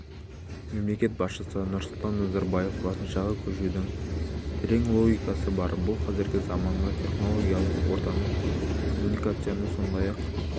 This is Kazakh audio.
мемлекет басшысы нұрсұлтан назарбаев латыншаға көшудің терең логикасы бар бұл қазіргі заманғы технологиялық ортаның коммуникацияның сондай-ақ